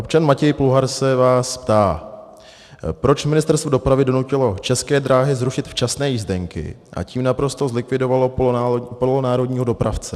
Občan Matěj Pluhar se vás ptá, proč Ministerstvo dopravy donutilo České dráhy zrušit včasné jízdenky, a tím naprosto zlikvidovalo polonárodního dopravce.